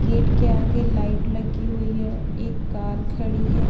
Gate के आगे light लगी हुई है एक कार खड़ी है।